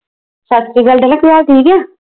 ਸੱਤ ਸ਼੍ਰੀ ਅਕਾਲ ਠੀਕ ਆ